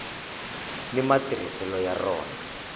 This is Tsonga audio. ni matirhiselo ya rona